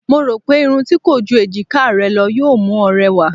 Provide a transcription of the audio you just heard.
Mo rò pé irun tí kò ju èjiká rẹ lọ yóò mú ọ rẹwà.